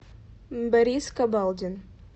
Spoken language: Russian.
борис кабалдин